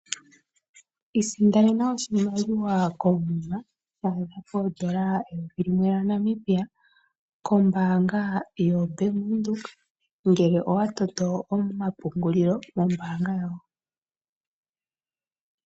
Isindanena oshimaliwa komuma shathika pondola eyovi lilwe lya Namibia kombanga yo Bank Widheok ngele owa toto oma pungulilo nombanga yawo.